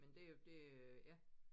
Men det jo det ja